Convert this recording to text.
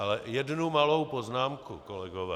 Ale jednu malou poznámku, kolegové.